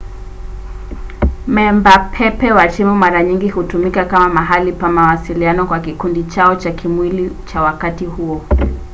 memba pepe wa timu mara nyingi hutumika kama mahali pa mawasiliano kwa kikundi chao cha kimwili cha wakati huo